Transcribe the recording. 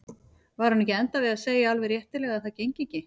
Var hún ekki að enda við að segja alveg réttilega að það gengi ekki?